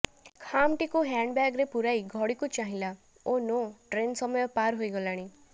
ଖାମ୍ଟିକୁ ହ୍ୟାଣ୍ଡବ୍ୟାଗ୍ରେ ପୁରାଇ ଘଡ଼ିକୁ ଚାହିଁଲା ଓ ନୋ ଟ୍ରେନ୍ ସମୟ ପାର ହୋଇଗଲାଣି